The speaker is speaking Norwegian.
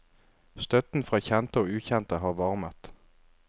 Støtten fra kjente og ukjente har varmet.